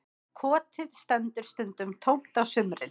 Kotið stendur stundum tómt á sumrin